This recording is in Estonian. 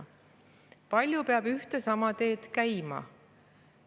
Kui palju peab ühte ja sama teed käima?